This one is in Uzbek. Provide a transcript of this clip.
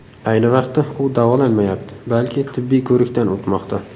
Ayni vaqtda u davolanmayapti, balki tibbiy ko‘rikdan o‘tmoqda.